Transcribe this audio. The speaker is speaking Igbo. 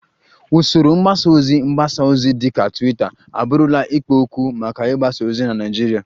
Usoro mgbasa ozi mgbasa ozi dịka Twitter abụrụla ikpo okwu maka ịgbasa ozi na Naịjirịa